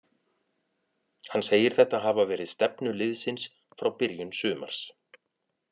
Hann segir þetta hafa verið stefnu liðsins frá byrjun sumars.